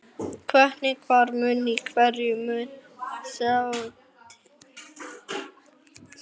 Hvernig, hver mun, í hverju mun sáttin felast?